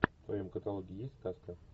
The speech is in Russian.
в твоем каталоге есть сказка